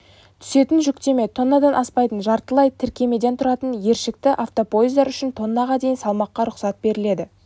түсетін жүктеме тоннадан аспайтын жартылай тіркемеден тұратын ершікті автопоездар үшін тоннаға дейін салмаққа рұқсат беріледі